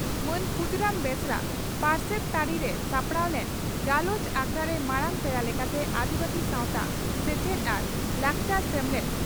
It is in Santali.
ᱢᱟᱱ ᱠᱷᱩᱫᱤᱨᱟᱢ ᱵᱮᱥᱨᱟ ᱯᱟᱨᱥᱮᱛ ᱛᱟᱹᱨᱤᱨᱮ ᱥᱟᱯᱲᱟᱣ ᱞᱮᱱ ᱜᱟᱞᱚᱪ ᱟᱠᱷᱲᱟᱨᱮ ᱢᱟᱨᱟᱝ ᱯᱮᱲᱟ ᱞᱮᱠᱟᱛᱮ ᱟᱹᱫᱤᱵᱟᱹᱥᱤ ᱥᱟᱣᱛᱟ ᱥᱮᱪᱮᱫ ᱟᱨ ᱞᱟᱠᱪᱟᱨ ᱥᱮᱢᱞᱮᱫ